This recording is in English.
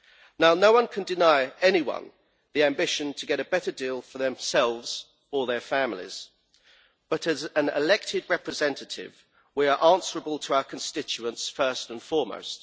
Now no one can deny anyone the ambition to get a better deal for themselves or their families, but as elected representatives we are answerable to our constituents first and foremost.